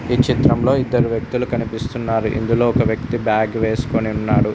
ఈ చిత్రంలో ఇద్దరు వ్యక్తులు కనిపిస్తున్నారు ఇందులో ఒక వ్యక్తి బ్యాగ్ వేసుకొని ఉన్నాడు.